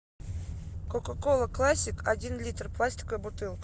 кока кола классик один литр пластиковая бутылка